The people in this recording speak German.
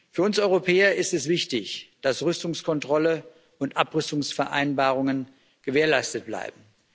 Für uns Europäer ist es wichtig, dass Rüstungskontrolle und Abrüstungsvereinbarungen gewährleistet bleiben.